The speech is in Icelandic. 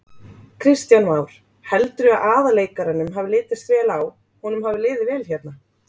Kristján Már: Heldurðu að aðalleikaranum hafi litist vel á, honum hafi liðið vel hérna?